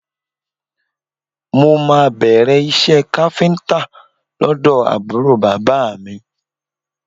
Mo máa bẹ̀rẹ̀ iṣẹ́ káfíńtà lọ́dọ̀ àbúrò bàbá mi